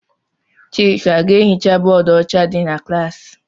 Chika jee hichaa bóódú ọcha dị n' klassi!!!